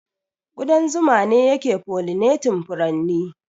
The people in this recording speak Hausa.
Ƙudan zuma ne yake pollinating furanni.